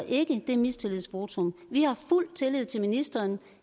ikke det mistillidsvotum vi har fuld tillid til ministeren